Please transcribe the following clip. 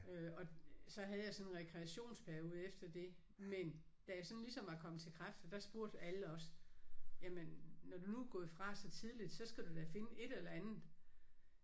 Øh og så havde jeg sådan en rekreationsperiode efter det men da jeg sådan ligesom var kommet til kræfter der spurgte alle også jamen når du nu er gået fra så tidligt så skal du da finde et eller andet